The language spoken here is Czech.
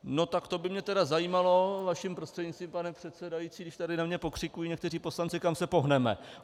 No tak to by mě tedy zajímalo, vaším prostřednictvím, pane předsedající, když tady na mě pokřikují někteří poslanci, kam se pohneme.